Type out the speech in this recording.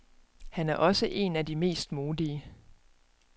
Han er også en af de mest modige.